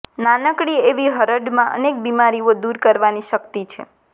નાનકડી એવી હરડમાં અનેક બીમારીઓ દૂર કરવાની શક્તિ છે